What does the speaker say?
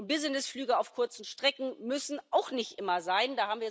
Und Businessflüge auf kurzen Strecken müssen auch nicht immer sein.